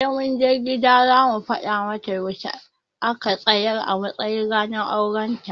Sai mun je gida za mu fada mata yaushe a ka tsayar a matsayin ranar auren ta